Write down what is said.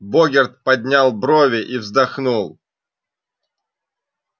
богерт поднял брови и вздохнул